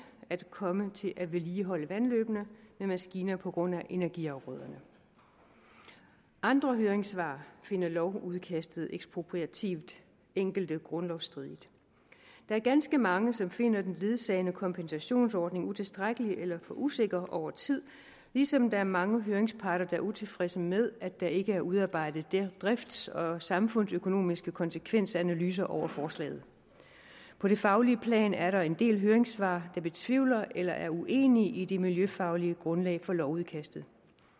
at komme til at vedligeholde vandløbene med maskiner på grund af energiafgrøderne andre høringssvar finder lovudkastet ekspropriativt og enkelte grundlovsstridigt der er ganske mange som finder den ledsagende kompensationsordning utilstrækkelig eller for usikker over tid ligesom der er mange høringsparter er utilfredse med at der ikke er udarbejdet drifts og samfundsøkonomiske konsekvensanalyser over forslaget på det faglige plan er der en del høringssvar der betvivler eller er uenige i det miljøfaglige grundlag for lovudkastet